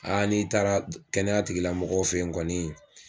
n'i taara kɛnɛya tigilamɔgɔw fɛ yen kɔni